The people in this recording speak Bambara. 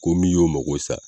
Ko min y'o mago sa